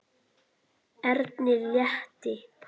Erni létti.